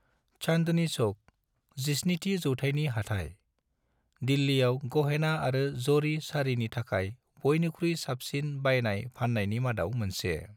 चांदनी चौक, 17थि जौथायनि हाथाय, दिल्लीयाव गहेना आरो जरी साड़िनि थाखाय बयनिख्रुइ साबसिन बायनाय-फाननायनि मादाव मोनसे।